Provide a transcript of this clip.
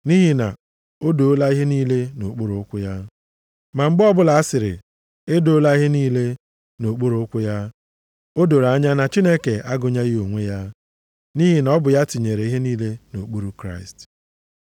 Nʼihi na “O doola ihe niile nʼokpuru ụkwụ ya.” + 15:27 \+xt Abụ 8:6\+xt* Ma mgbe ọbụla asịrị, “e doola ihe niile” nʼokpuru ụkwụ ya, o doro anya na Chineke agụnyeghị onwe ya, nʼihi na ọ bụ ya tinyere ihe niile nʼokpuru Kraịst.